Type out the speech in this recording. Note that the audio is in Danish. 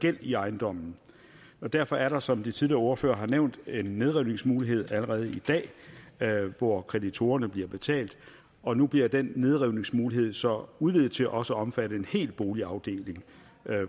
gæld i ejendommen derfor er der som de tidligere ordførere har nævnt en nedrivningsmulighed allerede i dag hvor kreditorerne bliver betalt og nu bliver den nedrivningsmulighed så udvidet til også at omfatte en hel boligafdeling